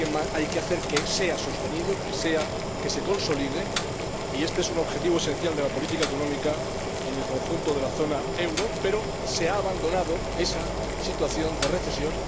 Hay que hacer que sea sostenido, que se consolide —y este es un objetivo esencial de la política económica en el conjunto de la zona euro—, pero se ha abandonado esa situación de recesión.